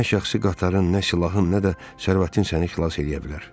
Nə şəxsi qatarın, nə silahın, nə də sərvətin səni xilas eləyə bilər.